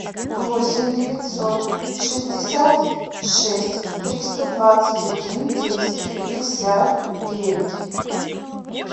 восемь девятьсот шестьдесят шесть триста двадцать один десять пятьдесят девять